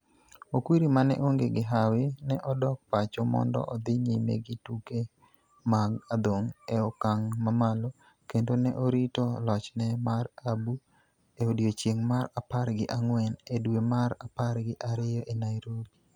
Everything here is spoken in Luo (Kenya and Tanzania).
Okwiri ma ne onge gi hawi, ne odok pacho mondo odhi nyime gi tuke mag adhong' e okang' mamalo, kendo ne orito lochne mar ABU e odiechieng' mar apar gi ang'wen e dwe mar apar gi ariyo e Nairobi.